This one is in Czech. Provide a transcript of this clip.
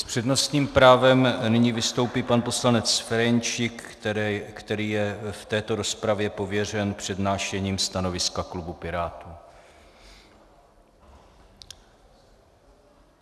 S přednostním právem nyní vystoupí pan poslanec Ferjenčík, který je v této rozpravě pověřen přednášením stanoviska klubu Pirátů.